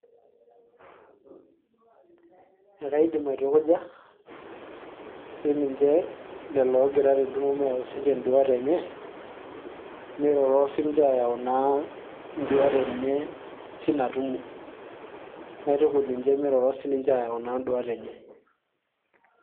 ekaidim aitukuja siniche lelo oogira tentumo meyau sininche induat enye miroro sininche ayau naa induat enye tinatumo, naitukuj ninche miroro siniche ayau naa induat enye.